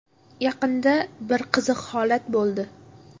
Yaqinda bir qiziq holat bo‘ldi.